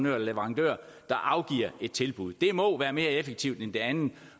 eller leverandør der afgiver et tilbud det må være mere effektivt end det andet